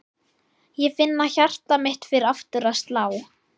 Ég finn að hjarta mitt fer aftur að slá.